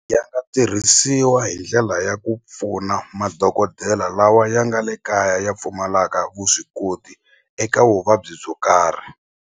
tirhisiwa hi ndlela ya ku pfuna madokodela lawa ya nga le kaya ya pfumalaka vuswikoti eka vuvabyi byo karhi.